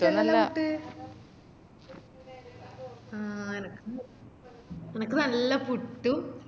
ഇനിക്കിഷ്ട്ടല്ലലോ പുട്ട് ആഹ് എനക്ക് ഇണ്ട് എനക്ക് നല്ല പുട്ടും